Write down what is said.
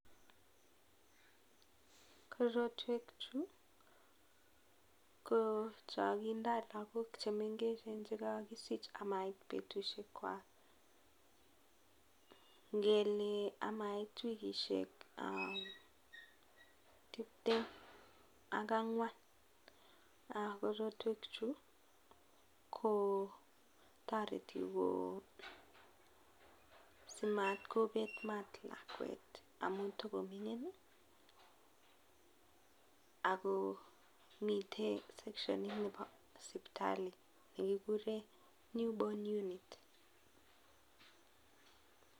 Korotwek chuu ko chon kindoo lagok chemengechen chekokisich komait betusiek kwak, ngele amait wikisiek um tiptem ak ang'wan. Korotwek chuu kotoreti ko simatkobet maat lakwet amun togoming'in ih akomiten section nebo sipitali nekikuren new born unit